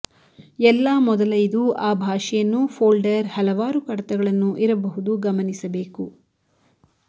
ಎಲ್ಲಾ ಮೊದಲ ಇದು ಆ ಭಾಷೆಯನ್ನು ಫೋಲ್ಡರ್ ಹಲವಾರು ಕಡತಗಳನ್ನು ಇರಬಹುದು ಗಮನಿಸಬೇಕು